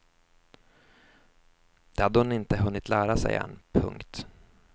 Det hade hon inte hunnit lära sig än. punkt